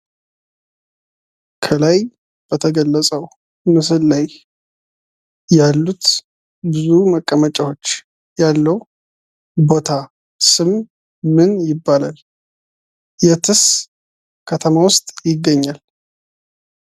ከላይ በተገለጸው ምስል ላይ ያሉት ብዙ መቀመጫዎች ያለው ቦታ ስምምን ይባላል? የትስ ከተማ ውስጥ ይገኛል?